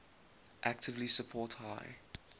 actively support high